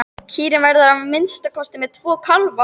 Kýrin verður að minnsta kosti með tvo kálfa.